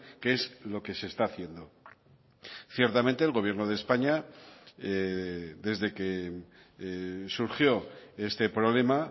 que es lo que se está haciendo ciertamente el gobierno de españa desde que surgió este problema